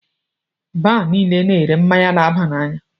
Baar niile na -ere mmáñyá na-aba n'anya.